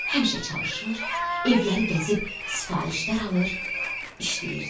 Həmişə çalışır, evləri gəzib sifarişlər alır, işləyirdi.